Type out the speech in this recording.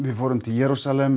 fórum til Jerúsalem